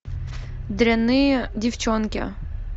дрянные девчонки